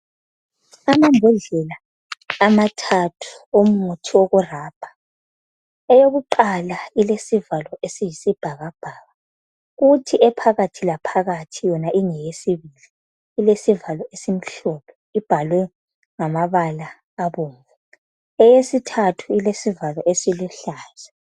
Amambodlelamathathu omuthi wokurabha eyokuqala ilesivalo esiyisibhakabhaka kuthi ephakathilaphakathi yona ingeyesibili ilesivalo esimhlophe ibhalwe ngamabala abomvu eyesithathu ilesivalo esiluhlaza.